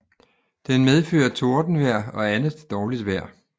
Den medfører tordenvejr og andet dårligt vejr